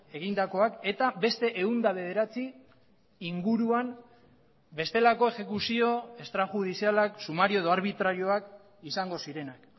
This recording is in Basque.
egindakoak eta beste ehun eta bederatzi inguruan bestelako exekuzio estrajudizialak sumario edo arbitrarioak izango zirenak